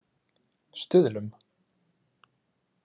Stuðlum